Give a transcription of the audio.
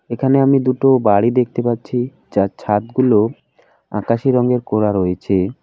এখানে আমি দুটো বাড়ি দেখতে পাচ্ছি যার ছাদগুলো আকাশী রঙ্গের করা রয়েছে।